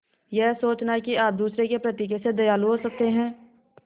यह सोचना कि आप दूसरों के प्रति कैसे दयालु हो सकते हैं